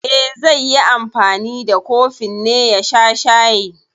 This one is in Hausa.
E, zai yi anfani da kofin ne ya sha shayi.